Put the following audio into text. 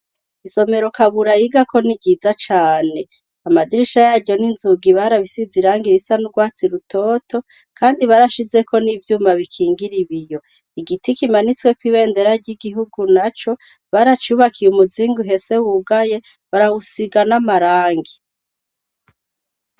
Isomero kabura yigako ni riza cane amadirisha yaryo n'inzuga ibariabisize iranga irisa n'urwatsi rutoto, kandi barashizeko n'ivyuma bikingira ibiyo igiti kimanitsweko ibendera ry'igihugu na co baracubakiye umuzingu hese wugaye barawusigan'amarangi.